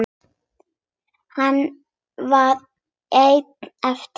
Hann var einn eftir.